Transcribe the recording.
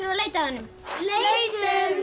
að leita að honum leitum